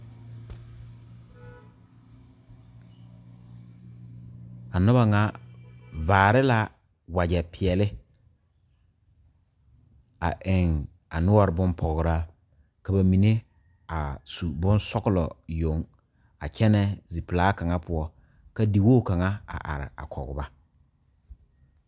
A noba kaŋa vare la wagye peɛle a eŋ a noɔre bonpɔgraa ka ba mine a su bonsɔglɔ yoŋ a kyɛne zie pelaa kaŋa poɔ a di wogi kaŋa a are a kɔge ba.